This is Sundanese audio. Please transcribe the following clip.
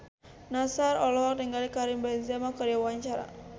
Nassar olohok ningali Karim Benzema keur diwawancara